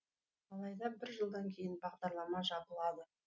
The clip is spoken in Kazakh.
алайда бір жылдан кейін бағдарлама жабылады